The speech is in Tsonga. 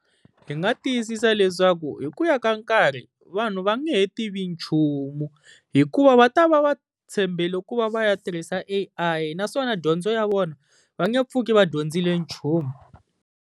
Hi nga tiyisisa leswaku hi ku ya ka nkarhi vanhu va nge he tivi nchumu, hikuva va ta va va tshembele ku va va ya tirhisa A_I naswona dyondzo ya vona va nge pfuki va dyondzile nchumu.